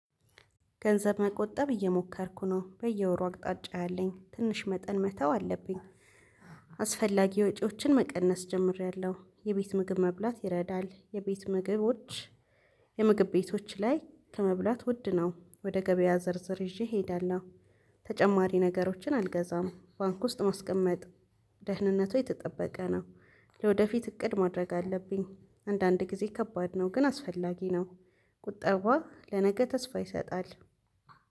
ገንዘብ መቆጠብ እየሞከርኩ ነው በየወሩ አቅጣጫ ያለኝ ትንሽ መጠን መተው አለብኝ። አስፈላጊ ወጪዎችን መቀነስ ጀምሬያለሁ የቤት ምግብ መብላት ይረዳል የቤት ምግቦች። የምግብ ቤቶች ላይ ከመብላት ውድ ነው ወደ ገበያ ዝርዝር ይዤ እሄዳለሁ። ተጨማሪ ነገሮችን አልገዛም። ባንክ ውስጥ ማስቀመጥ ደህንነቱ የተጠበቀ ነው። ለወደፊት እቅድ ማድረግ አለብኝ። አንዳንድ ጊዜ ከባድ ነው ግን አስፈላጊ ነው። ቁጠባ ለነገ ተስፋ ይሰጣል።